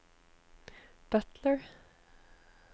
butler